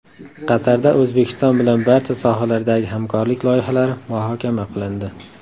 Qatarda O‘zbekiston bilan barcha sohalardagi hamkorlik loyihalari muhokama qilindi.